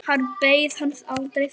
Hann beið hans aldrei þar.